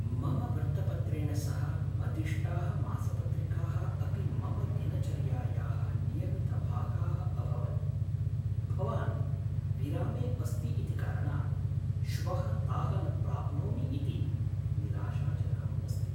मम वृत्तपत्रेण सह मदिष्टाः मासपत्रिकाः अपि मम दिनचर्यायाः नियमितभागाः अभवन्। भवान् विरामे अस्ति इति कारणात् श्वः ताः न प्राप्नोमि इति निराशाजनकम् अस्ति।